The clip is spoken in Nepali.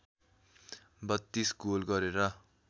३२ गोल गरेर